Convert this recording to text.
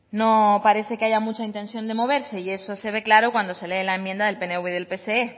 no parece que haya mucha intención de moverse y eso se ve claro cuando se lee la enmienda del pnv y del pse